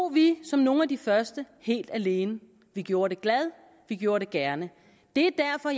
vi som nogle af de første helt alene vi gjorde det glad vi gjorde det gerne det er derfor